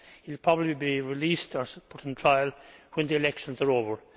He will probably be released, or put on trial, when the elections are over.